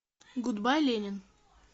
гудбай ленин